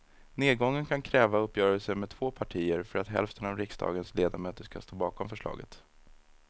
Nedgången kan kräva uppgörelser med två partier för att hälften av riksdagens ledamöter ska stå bakom förslaget.